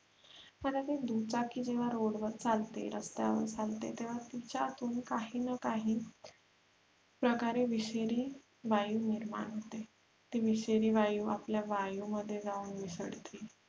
दुचाकी जेव्हा road वर चालते रस्त्यावर चालते तेव्हा तिच्यातून काही न काही प्रकारे विषारी वायू निर्माण होते ती विषारी वायु आपल्या वायु मध्ये जाऊन मिसळते.